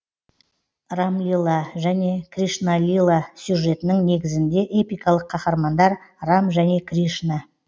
рамлила және кришналила сюжетінің негізінде эпикалық қаһармандар рам және кришна